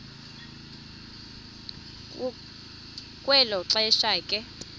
kwelo xesha ke